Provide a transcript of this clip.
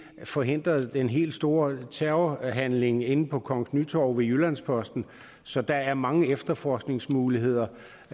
forhindrede den helt store terrorhandling inde på kongens nytorv ved jyllands posten så der er mange efterforskningsmuligheder